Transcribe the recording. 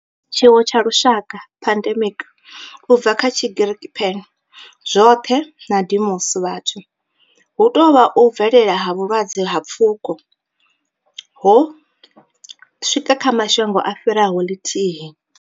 Tshiwo tsha lushaka pandemic, u bva kha Tshigiriki pan, zwothe na demos, vhathu hu tou vha u bvelela ha vhulwadze ha pfuko hune ho swika kha mashango a fhiraho lithihi.